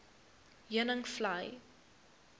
heuningvlei